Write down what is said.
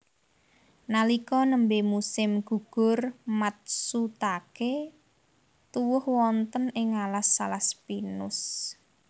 Nalika nembé musim gugur matsutaké tuwuh wonten ing alas alas pinus